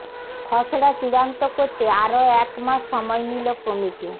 খসড়া চূড়ান্ত করতে আরও এক মাস সময় নিল কমিটি